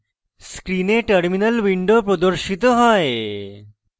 screen terminal window প্রদর্শিত হয়